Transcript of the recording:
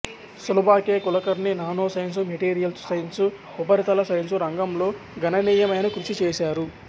Sulabha K Kulkarni nanoscience materials science ఉపరితల science రంగంలో గణనీయమైన కృషి చేసారు